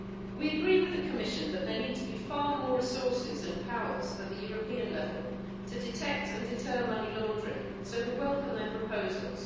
We agree with the Commission that there need to be far more resources and powers at the European level to detect and deter money laundering, so we welcome their proposals.